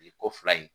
Ko fila in